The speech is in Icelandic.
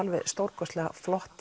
stórkostleg